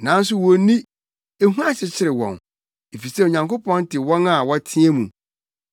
Nanso wonni, ehu akyekyere wɔn, efisɛ Onyankopɔn te wɔn a wɔteɛ mu.